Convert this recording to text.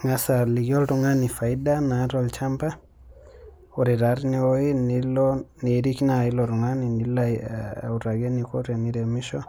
Ing'as aliki oltung'ani faida naata olchamba ore taa tinewuei nilo , niirik naa ilo tung'ani nilo autaki eneiko teniremisho